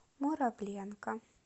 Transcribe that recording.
муравленко